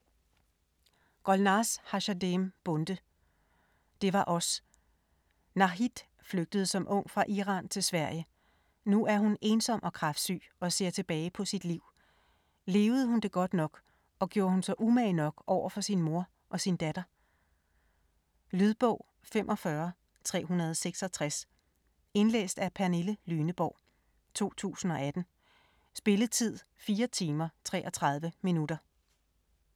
Bonde, Golnaz Hashemzadeh: Det var os Nahid flygtede som ung fra Iran til Sverige. Nu er hun ensom og kræftsyg og ser tilbage på sit liv. Levede hun det godt nok, og gjorde hun sig umage nok over for sin mor og sin datter? Lydbog 45366 Indlæst af Pernille Lyneborg, 2018. Spilletid: 4 timer, 33 minutter.